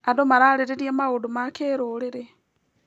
Andũ mararĩrĩria maũndũ ma kĩrũrĩrĩ.